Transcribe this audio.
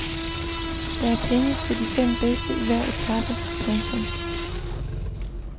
Der er penge til de fem bedste i hver etape. punktum